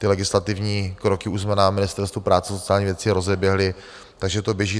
Ty legislativní kroky už jsme na Ministerstvu práce a sociální věci rozeběhli, takže to běží.